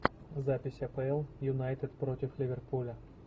запись апл юнайтед против ливерпуля